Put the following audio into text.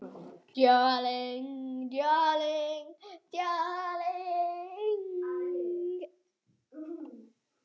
Hvert fer ég?